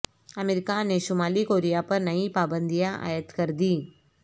امریکہ نے شمالی کوریا پر نئی پابندیاں عائد کر دیں